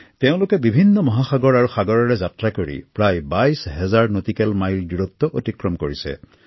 তেওঁলোকে বিভিন্ন সাগৰ আৰু মহাসাগৰেৰে যাত্ৰা কৰি প্ৰায় ২২ হাজাৰ নটিকেল মাইল অতিক্ৰম কৰিছে